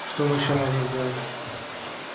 что мы ещё можем сделать